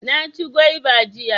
Na ci gwaiba jiya